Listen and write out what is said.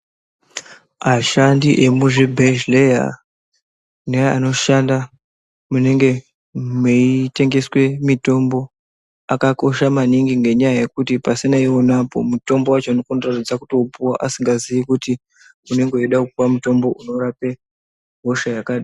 Ashandi emuzvibhedhleya neanoshanda munenge meitengeswe mitombo akakosha maningi. Ngenyaya yekuti pasina ivonapo mutombo vacho unotadza kuupuva asingazii kuti unenge veida kupuva mutombo unorape hosha yakadini.